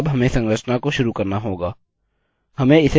हमें इसे कोष्ठक में डालना है